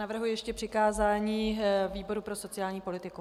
Navrhuji ještě přikázání výboru pro sociální politiku.